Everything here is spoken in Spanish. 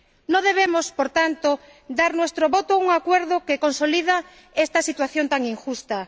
No debemos, por tanto, dar nuestro voto favorable a un acuerdo que consolida esta situación tan injusta.